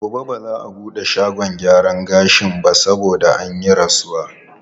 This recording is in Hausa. Gobe ba za a buɗe shagon gyaran gashin ba saboda an yi rasuwa.